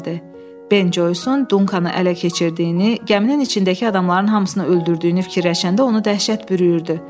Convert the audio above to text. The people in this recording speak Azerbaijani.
Ben Joyson Dunkanı ələ keçirdiyini, gəminin içindəki adamların hamısını öldürdüyünü fikirləşəndə onu dəhşət bürüyürdü.